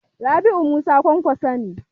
Rabi'u Musa Kwankwaso ne.